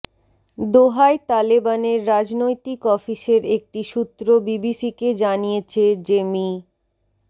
দোহায় তালেবানের রাজনৈতিক অফিসের একটি সূত্র বিবিসিকে জানিয়েছে যে মি